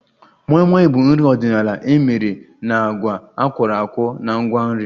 Moi Moi bụ nri ọdịnala emere na agwa akworakwo na ngwa nri